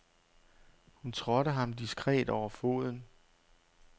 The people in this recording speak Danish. Hun trådte ham diskret over foden.